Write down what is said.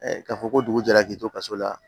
k'a fɔ ko dugu jɛra k'i to kaso la